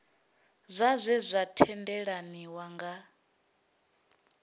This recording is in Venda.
zwa zwe zwa tendelaniwa nga